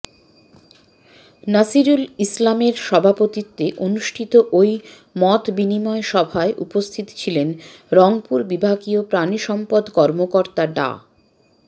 নাসিরুল ইসলামের সভাপতিত্বে অনুষ্ঠিত ওই মতবিনিময় সভায় উপস্থিত ছিলেন রংপুর বিভাগীয় প্রাণিসম্পদ কর্মকর্তা ডা